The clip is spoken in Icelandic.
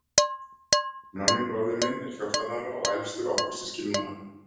Nonni bróðir minn er fjórtán ára og elstur okkar systkinanna.